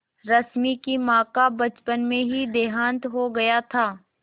रश्मि की माँ का बचपन में ही देहांत हो गया था